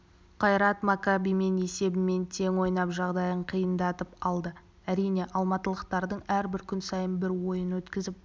қайрат маккабимен есебімен тең ойнап жағдайын қиындатып алды әрине алматылықтардың әрбір күн сайын бір ойын өткізіп